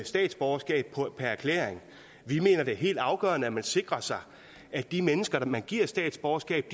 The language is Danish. statsborgerskab per erklæring vi mener at det er helt afgørende at man sikrer sig at de mennesker man giver et statsborgerskab